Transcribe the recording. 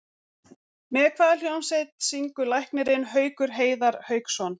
Með hvaða hljómsveit syngur læknirinn Haukur Heiðar Hauksson?